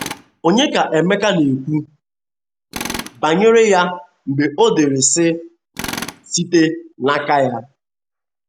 Ònye ka Emeka na - ekwu banyere ya mgbe o dere, sị, “ site n’aka ya ”?